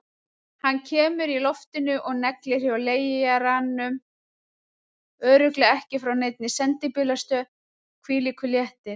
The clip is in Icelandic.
Hann kemur í loftinu og neglir hjá leigaranum, örugglega ekki frá neinni sendibílastöð, hvílíkur léttir!